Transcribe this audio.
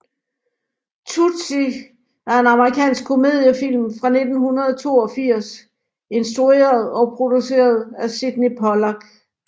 Tootsie er en amerikansk komediefilm fra 1982 instrueret og produceret af Sydney Pollack